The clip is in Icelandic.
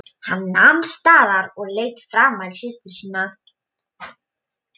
Hann nam staðar og leit framan í systur sína.